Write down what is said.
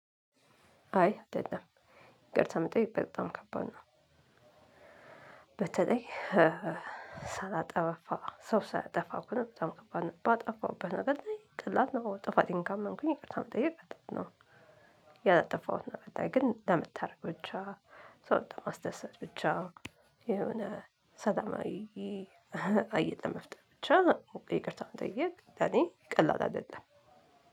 አይ አልጠጣም ይቅርታ መጠየቅ በጣም ከባድ ነው። በተለይ ሳላጠፋ ሰው ሳያጠፋ እኮ ነው በጣም ከባድ ባጠፋውበት ነገር ላይ ቀላል ነው። ጥፋቴን ካመንሁኝ ቀጥታ መጠየቅ ቀላል ነው። ያላጠፋሁት ነገር ግን ለመታደግ ብቻ ሰው ማስደሰት ብቻ የሆነ ሰላማዊ እህ ባየ ትምህርት ይቻላል። ሆ እንግሪ ይቅርታ መጠየቅ ለኔ ቀላል አይደለም።